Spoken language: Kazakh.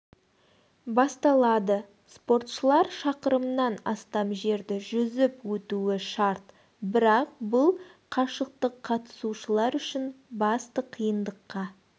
басталады спортшылар шақырымнан астам жерді жүзіп өтуі шарт бірақ бұл қашықтық қатысушылар үшін басты қиындыққа